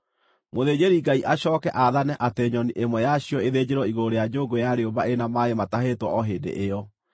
Mũthĩnjĩri-Ngai acooke aathane atĩ nyoni ĩmwe yacio ĩthĩnjĩrwo igũrũ rĩa nyũngũ ya rĩũmba ĩrĩ na maaĩ matahĩtwo o hĩndĩ ĩyo.